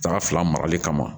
Daga fila marali kama